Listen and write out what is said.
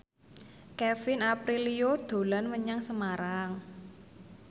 Kevin Aprilio dolan menyang Semarang